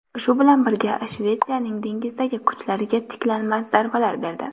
Shu bilan birga, Shvetsiyaning dengizdagi kuchlariga tiklanmas zarbalar berdi.